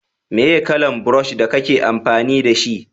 meye kalan burosh da kake amfani da shi?